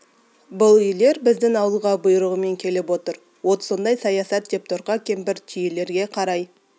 бұл үйлер біздің ауылға бұйрығымен келіп отыр от соңдай саясат деп торқа кемпір түйелерге қарай